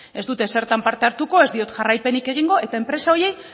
ez dut ezertan parte hartuko ez diot jarraipenik egingo eta enpresa horiei